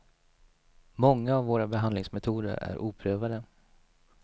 Många av våra behandlingsmetoder är oprövade.